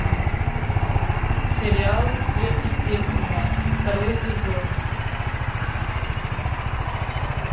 сериал сверхъестественное второй сезон